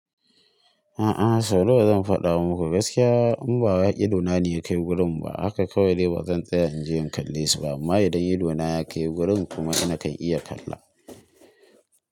A'a sau na wa zan faɗa muku gaskiya in ba wai idona ne ya kai wurin ba haka kawai bazan tsaya in je in kalle su ba amma idan idona ya kai wurin kuma na kan iya kalla.